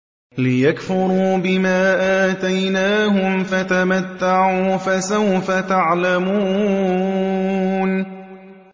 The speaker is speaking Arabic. لِيَكْفُرُوا بِمَا آتَيْنَاهُمْ ۚ فَتَمَتَّعُوا فَسَوْفَ تَعْلَمُونَ